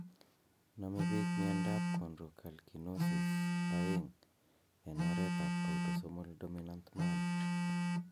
Nome pik miondap chondrocalcinosis 2 en oret ap autosomal dominant manner.